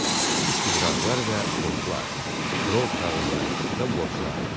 İstiqrazlar və fondlar, kirov kağızları və borclar.